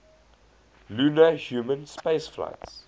lunar human spaceflights